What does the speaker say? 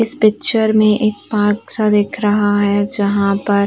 इस पिक्चर में एक पार्क सा दिख रहा है जहाँ पर --